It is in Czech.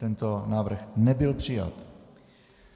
Tento návrh nebyl přijat.